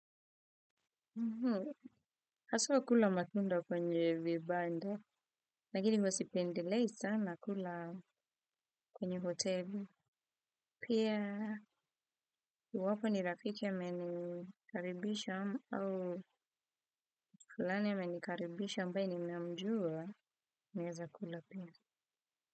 Mhh. Haswa kula matunda kwenye vibanda. Lakini huwa sipendelei sana kula kwenye hoteli. Pia iwapo ni rafiki amenikaribisha au fulani amenikaribisha ambaye ninamjua naweza kula pia.